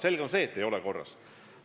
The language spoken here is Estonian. Selge on see, et ei ole korras.